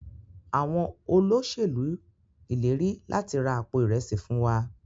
Àwọn Olóṣèlú ileri lati ra Àpò Ìrẹsí fún wá.